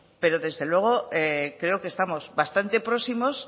pero desde luego creo que estamos bastante próximos